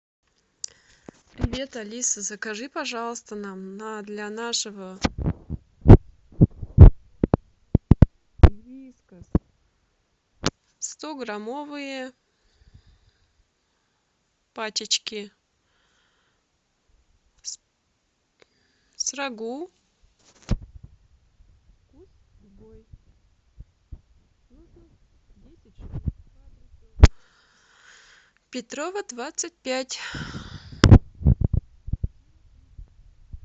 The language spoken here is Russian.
привет алиса закажи пожалуйста нам для нашего сто граммовые пачечки с рагу петрова двадцать пять